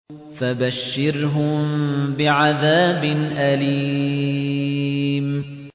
فَبَشِّرْهُم بِعَذَابٍ أَلِيمٍ